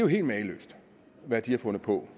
helt mageløst hvad de har fundet på